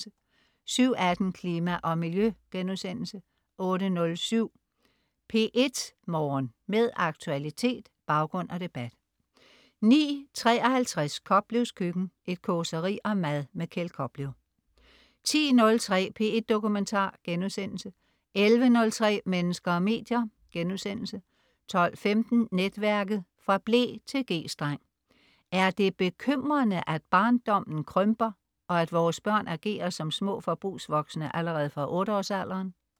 07.18 Klima og Miljø* 08.07 P1 Morgen. Med aktualitet, baggrund og debat 09.53 Koplevs Køkken. Et causeri om mad. Kjeld Koplev 10.03 P1 Dokumentar* 11.03 Mennesker og medier* 12.15 Netværket. Fra ble til G-streng. Er det bekymrende, at barndommen krymper, og at vores børn agerer som små forbrugsvoksne allerede fra 8 års alderen?